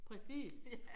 Præcis